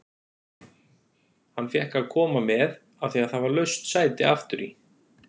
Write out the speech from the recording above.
Hann fékk að koma með af því að það var laust sæti aftur í.